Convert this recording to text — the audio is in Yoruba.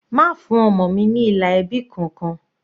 Má fún ọmọ mi ní ilà ẹbí kankan.